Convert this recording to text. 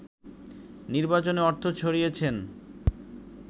নির্বাচনে অর্থ ছড়িয়েছেন